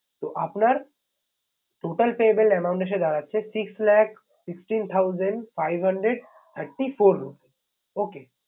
তো আপনার total payable amount এসে দাঁড়াচ্ছে six lakh sixteen thousand five hundred thirty four rupees okay